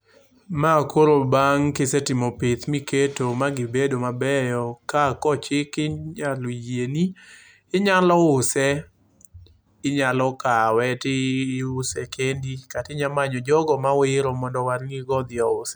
Ma koro bang' kisetimo pith, miketo magibedo mabeyo ka kochiki inyalo yieni. Inyalo use, inyalo kawe tiuse kendi kata inyalo manyo jogo mawero mondo owarnigo, odhi ouse.